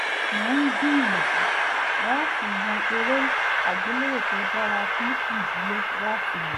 mò ń gbìyànjú láti yan eré àgbéléwò tó dára fún ìdílé láti wò